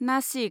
Nashik